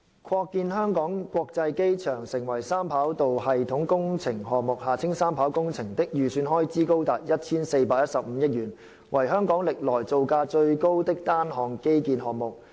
擴建香港國際機場成為三跑道系統工程項目的預算開支高達 1,415 億元，為香港歷來造價最高的單項基建項目。